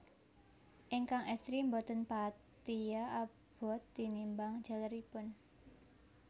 Ingkang estri boten patia abot tinimbang jaleripun